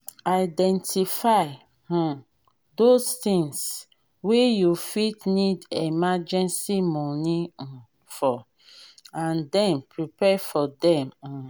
identify um those things wey you fit need emergency money um for and then prepare for them um